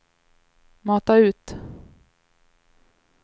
mata ut